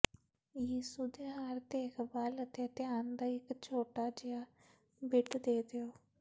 ਯਿਸੂ ਦੇ ਹਰ ਦੇਖਭਾਲ ਅਤੇ ਧਿਆਨ ਦਾ ਇੱਕ ਛੋਟਾ ਜਿਹਾ ਬਿੱਟ ਦੇ ਦਿਓ